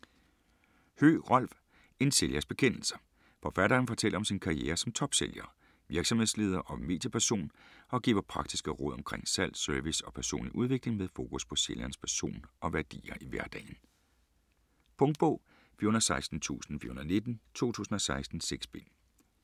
Høegh, Rolf: En sælgers bekendelser Forfatteren fortæller om sin karriere som topsælger, virksomhedsleder og medieperson, og giver praktiske råd omkring salg, service og personlig udvikling med fokus på sælgerens person og værdier i hverdagen. Punktbog 416419 2016. 6 bind.